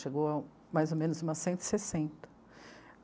Chegou a, mais ou menos, umas cento e sessenta.